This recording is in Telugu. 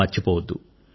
మర్చిపోవద్దు